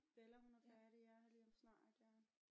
Bella hun er færdig ja lige om snart ja